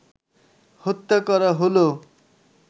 হত্যা করা হলো